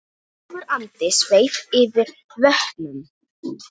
Ljúfur andi sveif yfir vötnum.